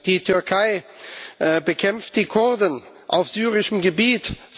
Die Türkei bekämpft die Kurden auf syrischem Gebiet.